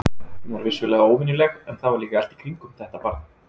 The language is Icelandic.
Hún var vissulega óvenjuleg, en það var líka allt í kringum þetta barn.